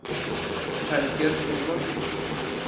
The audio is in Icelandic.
Sagði Björgvin í morgun.